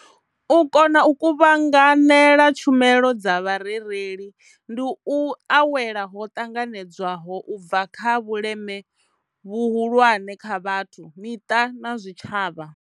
U kona u kuvhanganela tshumelo dza vha rereli ndi u awela ho ṱanganedzwaho u bva kha vhuleme vhuhulwane kha vhathu, miṱa na zwitshavha.